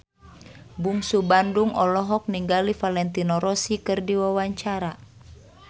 Bungsu Bandung olohok ningali Valentino Rossi keur diwawancara